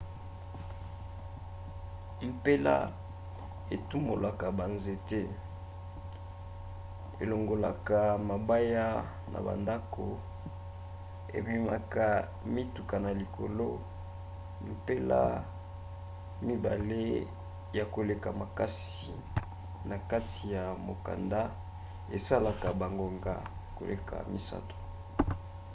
mpela etumolaka banzete elongolaka mabaya na bandako ememaka mituka na likolo. mpela mibale ya koleka makasi na kati ya mokanda esalaka bangonga koleka misato